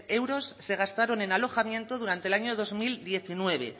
euros se gastaron en alojamiento durante el año dos mil diecinueve